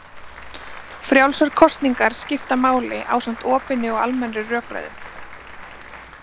Frjálsar kosningar skipta máli ásamt opinni og almennri rökræðu.